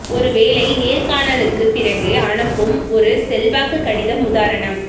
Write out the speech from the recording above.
ஒரு வேலை நேர்காணலுக்கு பிறகு அனுப்பும் ஒரு செல்வாக்கு கடிதம் உதாரணம்